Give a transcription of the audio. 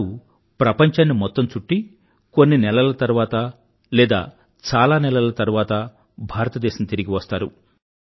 వారు ప్రపంచాన్ని మొత్తం చుట్టి కొన్ని నెలల తరువాత లేదా చాలా నెలల తరువాత భారతదేశం తిరిగివస్తారు